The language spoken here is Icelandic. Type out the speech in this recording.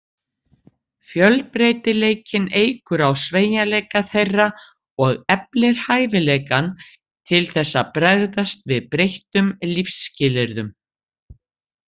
Fjölbreytileikinn eykur á sveigjanleika þeirra og eflir hæfileikann til þess að bregðast við breyttum lífsskilyrðum.